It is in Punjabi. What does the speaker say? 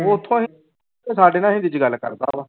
ਉੱਥੋਂ ਹੀ ਸਾਡੇ ਨਾਲ ਹਿੰਦੀ ਚ ਗੱਲ ਕਰਦਾ ਵਾ।